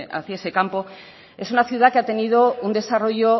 hacia ese campo es una ciudad que ha tenido un desarrollo